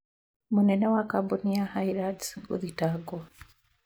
mũnene wa kambuni ya Highlands gũthitangwo